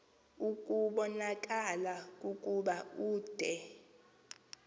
kubonakala ukuba ude